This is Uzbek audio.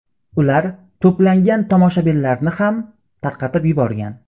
Ular to‘plangan tomoshabinlarni ham tarqatib yuborgan.